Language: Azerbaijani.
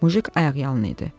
Mujik ayaqyalın idi.